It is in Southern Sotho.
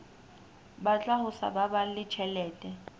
batla ho sa baballe tjhelete